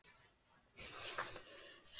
Svenna er farið að líða betur.